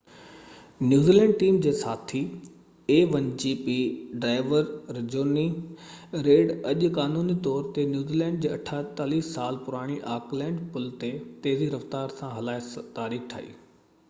a1gp New Zealand team جي ساٿي driver Jonny Reid اڄ قانوني طور تي نيوزي لينڊ جي 48 سال پراڻي آڪلينڊ پل تي تيزي رفتار سان هلائي تاريخ ٺاهي